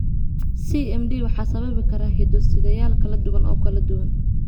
CMD waxaa sababi kara hiddo-sideyaal kala duwan oo kala duwan.